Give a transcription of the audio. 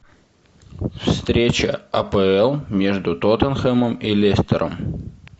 встреча апл между тоттенхэмом и лестером